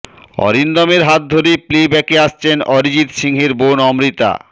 অরিন্দমের হাত ধরে প্লে ব্যাকে আসছেন অরিজিৎ সিংহের বোন অমৃতা